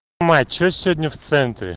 мать что сегодня в центре